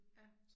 Ja